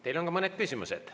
Teile on ka mõned küsimused.